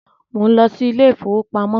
Mò ń lọ sí ilé ìfowópamọ́